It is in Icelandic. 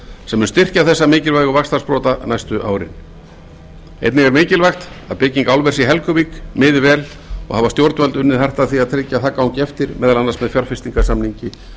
mun styrkja þessa mikilvægu vaxtarsprota næstu árin einnig er mikilvægt að byggingu álvers í helguvík miði vel og hafa stjórnvöld unnið hart að því að tryggja að það gangi eftir meðal annars með fjárfestingarsamningi